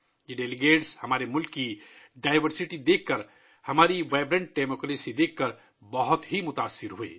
یہ مندوبین ہمارے ملک کے تنوع اور ہماری متحرک جمہوریت کو دیکھ کر بہت متاثر ہوئے